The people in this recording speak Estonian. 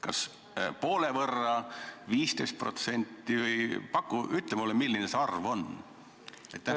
Kas poole võrra, 15% või paku, ütle mulle, milline see arv on?